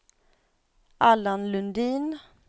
Allan Lundin